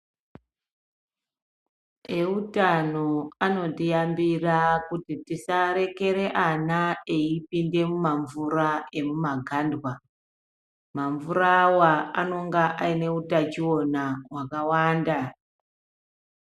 Eutano anotiyambira kuti tisarekere ana eipinde mumamvura emumagandwa mamvurawa anenge ane utachiwana wakawanda.